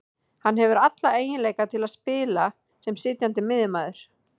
Hann hefur alla eiginleika til að spila sem sitjandi miðjumaður